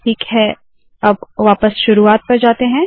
ठीक है वापस शुरुवात पर जाते है